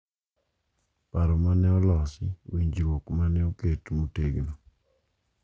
Paro ma ne olosi, winjruok ma ne oket motegno,